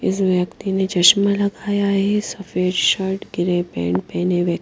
इस व्यक्ति ने चश्मा लगाया है सफेद शर्ट गिरे पेंट पहने हुए--